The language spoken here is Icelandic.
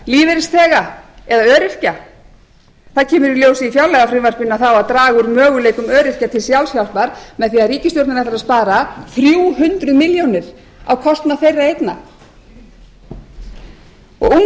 lífeyrisþega eða öryrkja það kemur í ljós í fjárlagafrumvarpinu að það á að draga úr möguleikum öryrkja til sjálfshjálpar með því að ríkisstjórnin ætlar að spara þrjú hundruð milljónir á kostnað þeirra einna unga fólkið fer